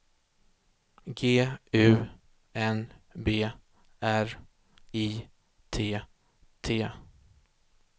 G U N B R I T T